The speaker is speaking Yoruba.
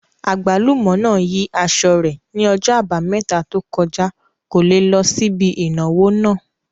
Àgbálùmọ́ náà yí aṣọ rẹ̀ ní ọjọ́ àbámẹ́ta tó kọjá, kò le lọ síbi ìnáwó náà